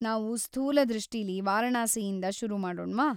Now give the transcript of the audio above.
ನಾವ್‌ ಸ್ಥೂಲ ದೃಷ್ಟಿಲೀ ವಾರಣಾಸಿಯಿಂದ ಶುರುಮಾಡೋಣ್ವಾ?